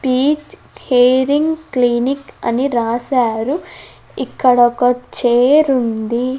Peach hearing clinic అని రాసారు ఇక్కడ ఒక చైర్ ఉంది.